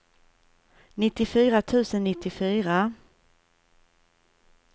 nittiofyra tusen nittiofyra